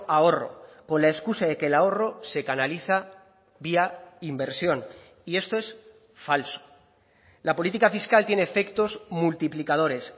ahorro con la excusa de que el ahorro se canaliza vía inversión y esto es falso la política fiscal tiene efectos multiplicadores